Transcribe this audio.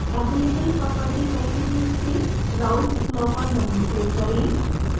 available property packages से raoults law पर double click करें